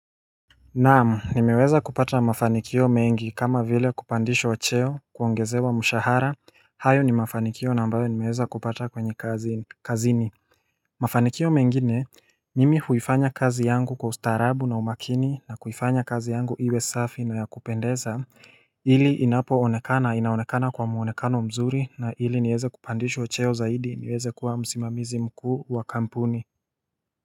Naam nimeweza kupata mafanikio mengi kama vile kupandishwa cheo kuongezewa mshahara hayo ni mafanikio ambayo nimeweza kupata kazini Mafanikio mengine mimi huifanya kazi yangu kwa ustaarabu na umakini na huifanya kazi yangu iwe safi na ya kupendeza ili inapo onekana inaonekana kwa muonekano mzuri na ili niweze kupandishwa cheo zaidi niweze kuwa msimamizi mkuu wa kampuni.